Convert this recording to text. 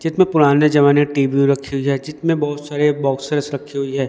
जितमे पुराने जमाने टी_वी रखी हुई है जितमे बहोत सारे बॉक्सेस रखी हुई है।